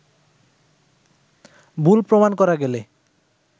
ভুল প্রমাণ করা গেলে